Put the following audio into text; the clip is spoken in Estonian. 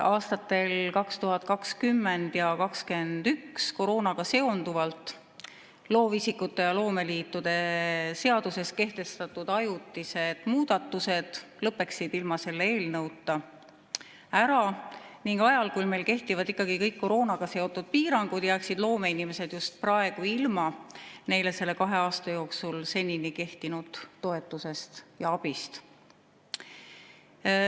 Aastatel 2020 ja 2021 koroonaga seonduvalt loovisikute ja loomeliitude seaduses kehtestatud ajutised muudatused lõppeksid ilma selle eelnõuta ära ning ajal, kui meil kehtivad kõik koroonaga seotud piirangud, jääksid loomeinimesed just praegu ilma neile selle kahe aasta jooksul toetusest ja abist.